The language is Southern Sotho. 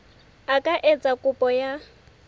a ka etsa kopo ya